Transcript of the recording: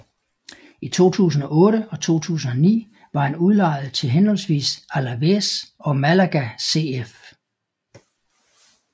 I 2008 og 2009 var han udlejet til henholdsvis Alavés og Málaga CF